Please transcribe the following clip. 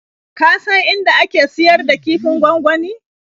Ka san inda ake siyar da kifin gwangwani?